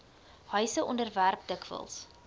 huise onderwerp dikwels